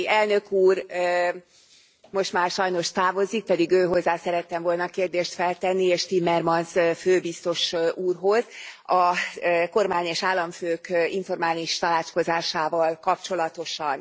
Tajani elnök úr most már sajnos távozik, pedig őhozzá szerettem volna a kérdést feltenni, és Timmermans főbiztos úrhoz, a kormány és államfők informális tanácskozásával kapcsolatosan.